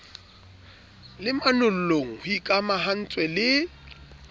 le manollong ho ikamahantswe le